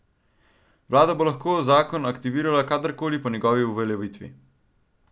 Vlada bo lahko zakon aktivirala kadarkoli po njegovi uveljavitvi.